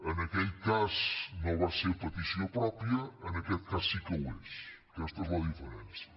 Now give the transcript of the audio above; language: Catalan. en aquell cas no va ser a petició pròpia en aquest cas sí que ho és aquesta és la diferència